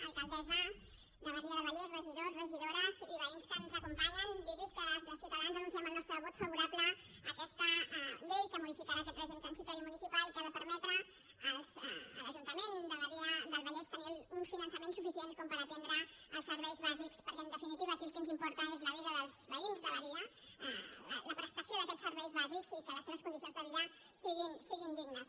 alcaldessa de badia del vallès regidors regidores i veïns que ens acompanyen dir los que des de ciutadans anunciem el nostre vot favorable a aquesta llei que modificarà aquest règim transitori municipal que ha de permetre a l’ajuntament de badia del vallès tenir un finançament suficient com per atendre els serveis bàsics perquè en definitiva aquí el que ens importa és la vida dels veïns de badia la prestació d’aquests serveis bàsics i que les seves condicions de vida siguin dignes